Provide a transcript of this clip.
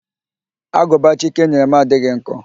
Agụba Chike nyere m adịghị nkọ